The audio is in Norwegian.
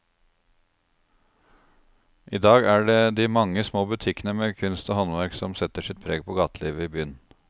I dag er det de mange små butikkene med kunst og håndverk som setter sitt preg på gatelivet i byen.